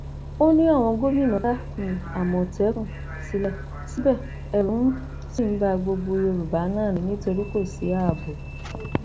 ó ní àwọn gómìnà dá um àmọtẹkùn sílẹ síbẹ ẹrù um ṣì ń ba gbogbo yorùbá náà ni nítorí kò sí ààbò